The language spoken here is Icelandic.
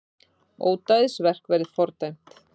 Ódæðisverk verði fordæmt